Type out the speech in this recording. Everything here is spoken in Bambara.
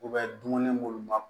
dumuni munnu ma